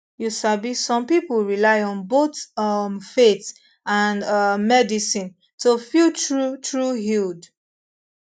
you sabi some pipo rely on top both um faith and ah medicine to feel true true healed